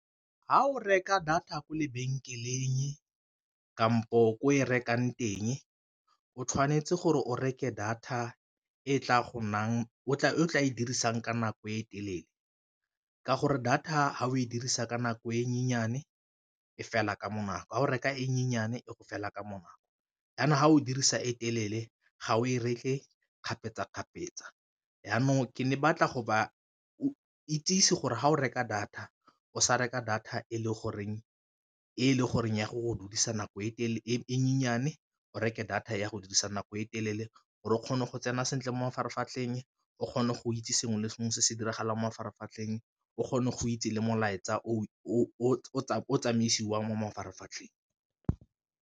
Ga o reka data kwa lebenkeleng kampo ko e rekang teng o tshwanetse gore o reke data e o tla e dirisang ka nako e telele, ka gore data fa o e dirisa ka nako e e fela ka bonako go reka e e go fela ka bonako, jaanong ga o dirisa e telele ga o e reke kgapetsa-kgapetsa, jaanong ke ne ke batla go ba o itsisi gore ga o reka data o sa reka data e le goreng ya go duedisa nako e nnyane, o reke data ya go dirisa nako e telele gore o kgone go tsena sentle mo mafaratlhatlheng o kgone go itse sengwe le sengwe se se diragalang mo mafaratlhatlheng o kgone go itse le molaetsa o tsamisiwang mo mafaratlhatlheng.